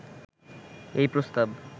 এই প্রস্তাব